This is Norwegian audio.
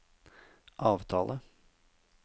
avtale